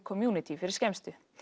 community fyrir skemmstu